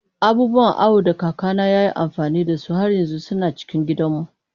Abubuwan awo da kakana ya yi amfani da su har yanzu suna cikin gidanmu.